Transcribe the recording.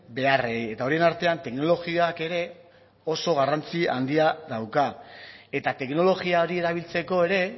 beharrei eta horien artean teknologiak ere oso garrantzi handia dauka eta teknologia hori erabiltzeko ere